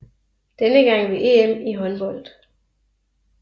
Denne gang ved EM i håndbold